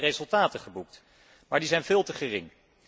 Er zijn resultaten geboekt, maar die zijn veel te gering.